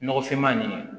Nɔgɔfinma nin